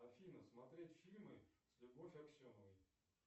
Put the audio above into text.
афина смотреть фильмы с любовь аксеновой